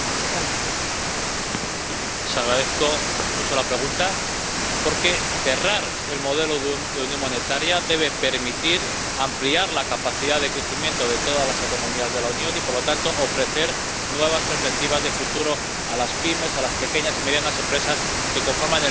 Agradezco mucho la pregunta, porque cerrar el modelo de unión monetaria debe permitir ampliar la capacidad de crecimiento de todas las economías de la Unión y, por lo tanto, ofrecer nuevas perspectivas de futuro a las pymes —a las pequeñas y medianas empresas—, que conforman el núcleo de la economía europea.